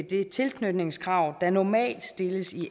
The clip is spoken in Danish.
det tilknytningskrav der normalt stilles i